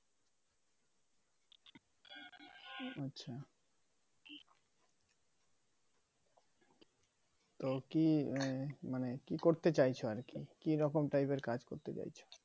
ও কি মানে কি করতে চাইছো আর কি কিরকম type এর কাজ করতে চাইছো